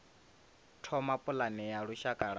thoma pulane ya lushaka ya